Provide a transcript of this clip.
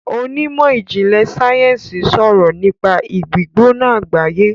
onimọ ìjìnlè sáyẹnsì sọrọ nipa igbigbona agbaye.